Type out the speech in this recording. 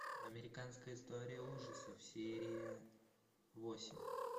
американская история ужасов серия восемь